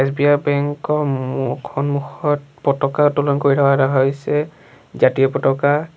SBI bank ৰ মু সন্মুখত পতাকা উত্তোলন কৰি থকা হৈছে জাতীয় পতকা।